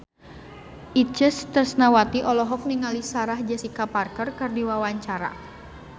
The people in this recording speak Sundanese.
Itje Tresnawati olohok ningali Sarah Jessica Parker keur diwawancara